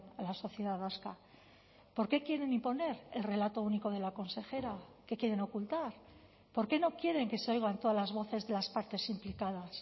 a la sociedad vasca por qué quieren imponer el relato único de la consejera qué quieren ocultar por qué no quieren que se oigan todas las voces de las partes implicadas